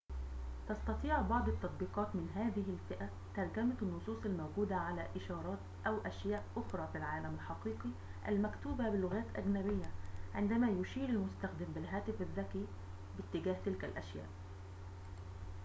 تستطيع بعض التطبيقات من هذه الفئة ترجمة النصوص الموجودة على إشارات أو أشياء أخرى في العالم الحقيقي المكتوبة بلغات أجنبية عندما يشير المستخدم بالهاتف الذكي باتجاه تلك الأشياء